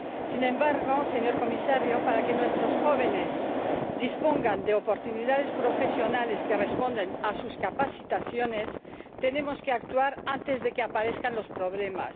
Sin embargo, señor Comisario, para que nuestros jóvenes dispongan de oportunidades profesionales que respondan a sus cualificaciones, tenemos que actuar antes de que aparezcan los problemas.